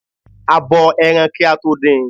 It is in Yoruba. A bo ẹran kí a tó din.